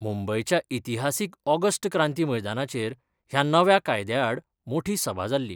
मुंबयच्या इतिहासिक ऑगस्ट क्रांती मैदानाचेर ह्या नव्या कायद्या आड मोठी सभा जाल्ली.